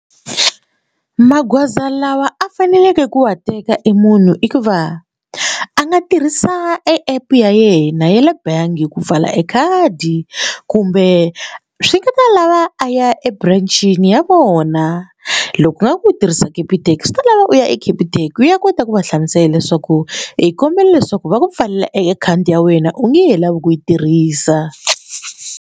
Magoza lawa a faneleke ku wa teka e munhu i va a nga tirhisa app ya yena ya le bangi ku pfala ekhadi kumbe swi nga ta lava a ya eburancini ya vona loko u nga ku u tirhisa capitec swi ta lava u ya e Capitec u ya kota ku va hlamusela leswaku i kombela leswaku va ku pfalela e akhawunti ya wena u ngehe lavi ku yi tirhisa.